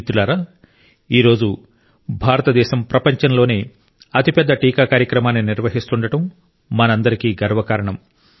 మిత్రులారా ఈ రోజు భారతదేశం ప్రపంచంలోనే అతిపెద్ద టీకా కార్యక్రమాన్ని నిర్వహిస్తుండటం మనందరికీ గర్వకారణం